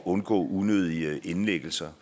undgå unødige indlæggelser